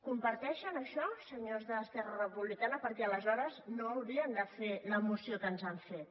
comparteixen això senyors d’esquerra republicana perquè aleshores no haurien de fer la moció que ens han fet